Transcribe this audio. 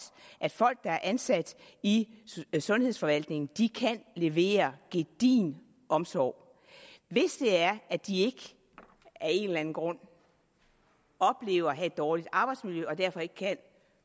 at folk der er ansat i sundhedsforvaltningen kan levere gedigen omsorg hvis det er at de af en eller anden grund oplever at have dårligt arbejdsmiljø og derfor ikke kan